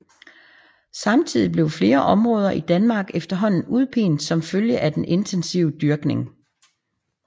Samtidig blev flere områder i Danmark efterhånden udpint som følge af den intensive dyrkning